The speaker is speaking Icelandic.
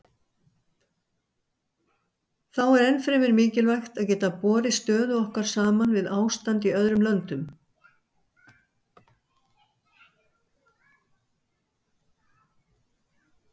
Þá er ennfremur mikilvægt að geta borið stöðu okkar saman við ástand í öðrum löndum.